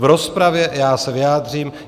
V rozpravě já se vyjádřím.